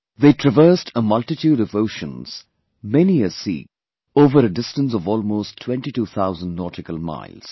They traversed a multitude of oceans, many a sea, over a distance of almost twenty two thousand nautical miles